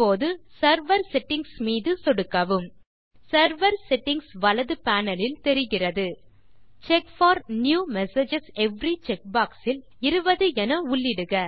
இப்போது server settings மீது சொடுக்கவும் செர்வர் செட்டிங்ஸ் வலது பேனல் லில் தெரிகிறது check for new messages every check box இல் 20 என உள்ளிடுக